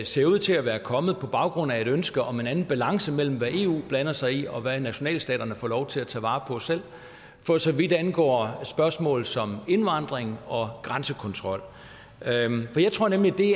ser ud til at være kommet på baggrund af et ønske om en anden balance mellem hvad eu blander sig i og hvad nationalstaterne får lov til at tage vare på selv for så vidt angår spørgsmål som indvandring og grænsekontrol for jeg tror nemlig at det